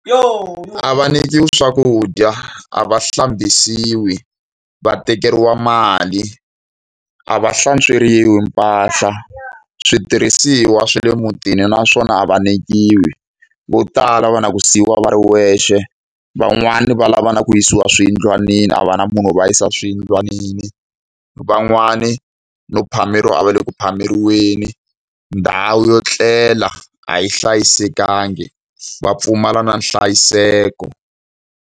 A va nyikiwi swakudya, a va hlambisiwi, va tekeriwa mali, a va hlantsweriwi mpahla, switirhisiwa swa le mutini na swona a va nyikiwi. Vo tala va na ku siyiwa va ri wexe, van'wani va lava na ku yisiwa swiyindlwanini, a va na munhu wo va yisa swiyindlwanini. Van'wani no phameriwa a va le ku phameriwweni, ndhawu yo etlela a yi hlayisekangi, va pfumala na nhlayiseko.